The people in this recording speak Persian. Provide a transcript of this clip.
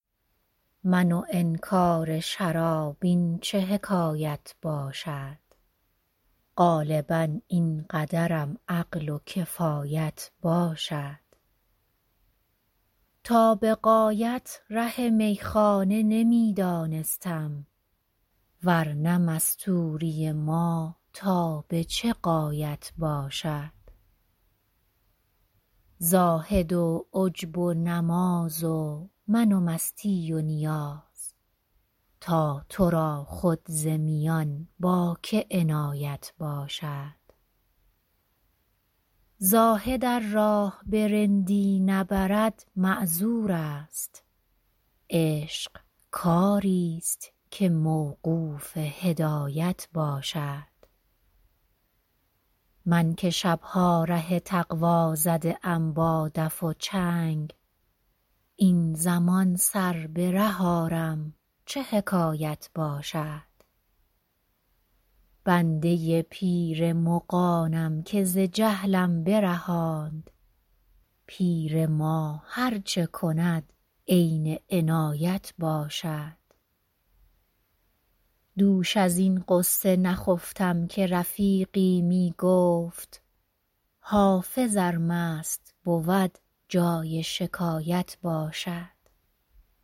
من و انکار شراب این چه حکایت باشد غالبا این قدرم عقل و کفایت باشد تا به غایت ره میخانه نمی دانستم ور نه مستوری ما تا به چه غایت باشد زاهد و عجب و نماز و من و مستی و نیاز تا تو را خود ز میان با که عنایت باشد زاهد ار راه به رندی نبرد معذور است عشق کاری ست که موقوف هدایت باشد من که شب ها ره تقوا زده ام با دف و چنگ این زمان سر به ره آرم چه حکایت باشد بنده پیر مغانم که ز جهلم برهاند پیر ما هر چه کند عین عنایت باشد دوش از این غصه نخفتم که رفیقی می گفت حافظ ار مست بود جای شکایت باشد